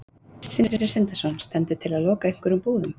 Sindri Sindrason: Stendur til að loka einhverjum búðum?